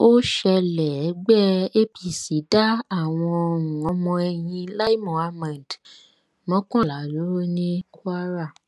ó ṣẹlẹ ẹgbẹ apc dá àwọn um ọmọ ẹyìn lai muhammed um mọkànlá dúró ní kwara